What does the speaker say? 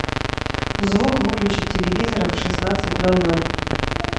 звук выключить телевизора в шестнадцать ноль ноль